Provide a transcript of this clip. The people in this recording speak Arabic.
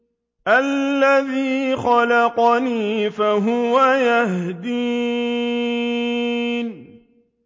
الَّذِي خَلَقَنِي فَهُوَ يَهْدِينِ